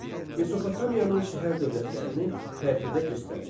Mesopotamiyanın şəhər-dövlətlərini xəritədə göstərin.